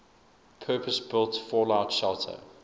purpose built fallout shelter